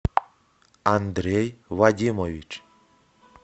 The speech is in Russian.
андрей вадимович